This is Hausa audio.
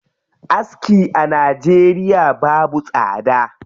Aski a Najeriya babu tsada.